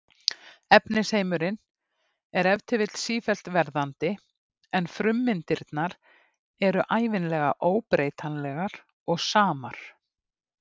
Efnisheimurinn er ef til vill sífellt verðandi en frummyndirnar eru ævinlega óbreytanlegar og samar.